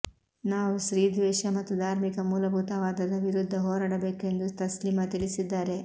ನಾವು ಸ್ತ್ರೀದ್ವೇಷ ಮತ್ತು ಧಾರ್ಮಿಕ ಮೂಲಭೂತವಾದದ ವಿರುದ್ಧ ಹೋರಾಡಬೇಕು ಎಂದು ತಸ್ಲೀಮಾ ತಿಳಿಸಿದ್ದಾರೆ